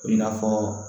I n'a fɔ